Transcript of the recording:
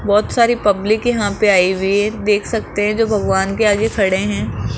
बहुत सारी पब्लिक यहां पे आई हुई है देख सकते हैं जो भगवान के आगे खड़े हैं।